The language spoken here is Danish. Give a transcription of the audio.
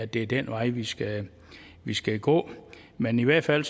det er den vej vi skal vi skal gå men i hvert fald